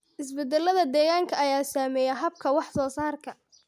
Isbeddellada deegaanka ayaa saameeya habka wax soo saarka.